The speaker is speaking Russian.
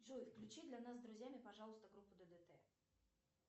джой включи для нас с друзьями пожалуйста группу ддт